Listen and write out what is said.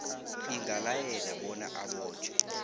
ingalayela bona abotjhwe